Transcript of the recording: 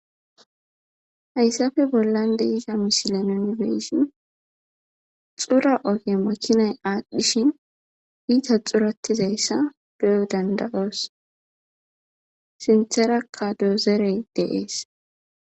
Hayssafe bollan deisha misilenoni beessin xura oge makinay aadhdhishin iita xuratizayssa beu danda7oos sintherakka doozerey deees